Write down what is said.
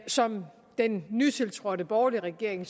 som den nytiltrådte borgerlige regering